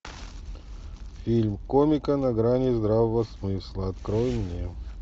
фильм комики на грани здравого смысла открой мне